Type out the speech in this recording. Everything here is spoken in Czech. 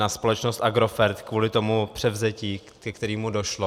Na společnost Agrofert kvůli tomu převzetí, ke kterému došlo.